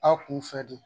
Aw kun fɛ de